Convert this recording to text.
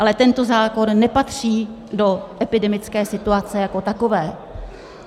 Ale tento zákon nepatří do epidemické situace jako takové.